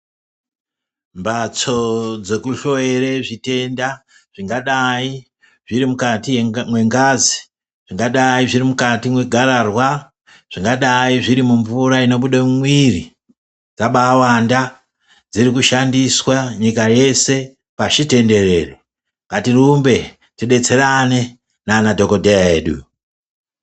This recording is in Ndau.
Mbatso dzekuhloyera zvitenda, zvingadayi zviri mukati mwengazi, zvingadayi zviri mukati mwegararwa, zvingadayi zviri mumvura inobuda mumwiri, dzabaawanda dziri kushandiswa nyika yeshe pashi tenderere ,ngatirumbe tidetserane nana dhokodheya edu.